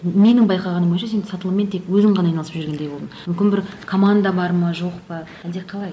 менің байқағаным бойынша сен сатылыммен тек өзің ғана айналысып жүргендей болдың мүмкін бір команда бар ма жоқ па әлде қалай